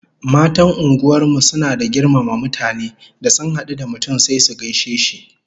Matan unguwar mu suna da girmama mutane, da sun hadu da mutum sai su gaishe shi